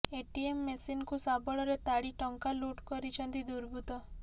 ATM ମେସିନ୍କୁ ଶାବଳରେ ତାଡି ଟଙ୍କା ଲୁଟ୍ କରିଛନ୍ତି ଦୁର୍ବୃତ୍ତ